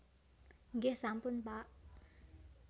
Nggih sampun Pak